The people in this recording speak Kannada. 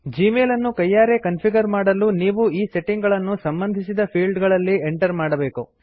ಜೀಮೇಲ್ ಅನ್ನು ಕೈಯಾರೆ ಕನ್ಫಿಗರ್ ಮಾಡಲು ನೀವು ಈ ಸೆಟ್ಟಿಂಗ್ ಗಳನ್ನು ಸಂಬಧಿಸಿದ ಫೀಲ್ಡ್ ಗಳಲ್ಲಿ ಎಂಟರ್ ಮಾಡಬೇಕು